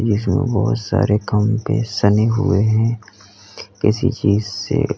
इसमें बहुत सारे खंबे सने हुए हैं किसी चीज से--